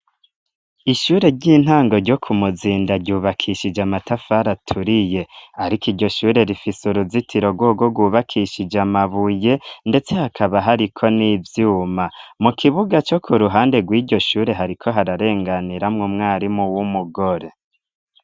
Ishure ry'intango ryo ku muzinda yubakishije amatafari aturiye ariko iryo shure rifise uruzitiro rwogo gwubakishije amabuye ndetse hakaba hariko n'ivyuma mu kibuga co ku ruhande gw'iryo shure hariko hararenganiramwo mwarimu w'umugore.